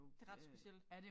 Det ret specielt